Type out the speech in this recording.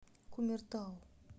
кумертау